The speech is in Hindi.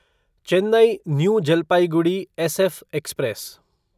Chennai new Jalpaiguri SF express